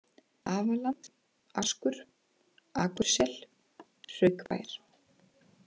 Afaland, Askur, Akursel, Hraukbær